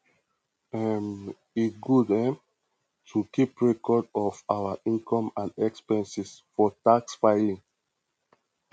um e good um to keep records of our income and expenses for tax filing